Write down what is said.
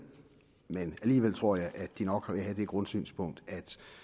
men alligevel tror jeg de nok vil have det grundsynspunkt at